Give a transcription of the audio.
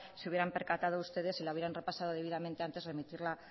se hubieran percatado ustedes si la hubieran repasado debidamente antes de remitirla